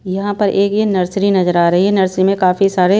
यहां पर एक ये नर्सरी नजर आ रही है नर्सरी में काफी सारे--